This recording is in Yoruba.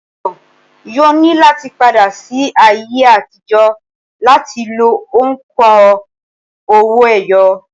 ènìyàn yóò ní láti padà sí ayé àtijọ́ láti lo òǹkà owó-ẹyọ